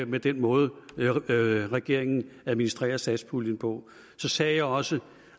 med den måde regeringen administrerer satspuljen på så sagde jeg også